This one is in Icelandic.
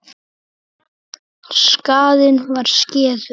Skaðinn var skeður.